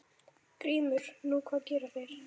GRÍMUR: Nú, hvað gerðu þeir?